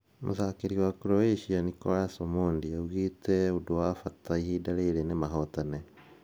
Mũtharĩkĩri wa Croatia Nicholas Omondi augĩte ũndũ wa bata ihinda rĩrĩ nĩ mahotane.